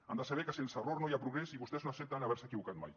han de saber que sense error no hi ha progrés i vostès no accepten haver se equivocat mai